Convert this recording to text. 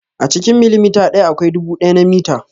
A cikin milimita ɗaya akwai dubu ɗaya na mita.